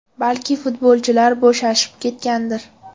Balki, futbolchilar bo‘shashib ketgandir.